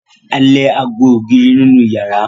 A lè ago ògiri nínú ìyàrá.